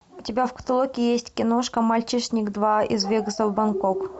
у тебя в каталоге есть киношка мальчишник два из вегаса в бангкок